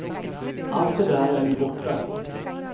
Allt det där är nu borta.